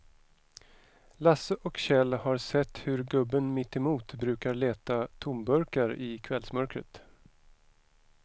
Lasse och Kjell har sett hur gubben mittemot brukar leta tomburkar i kvällsmörkret.